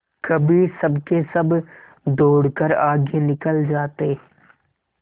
कभी सबके सब दौड़कर आगे निकल जाते